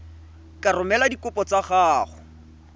ka romela dikopo tsa gago